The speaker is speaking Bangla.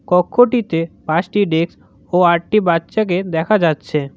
কক্ষটিতে পাঁচটি ডেক্স ও আটটি বাচ্চাকে দেখা যাচ্ছে।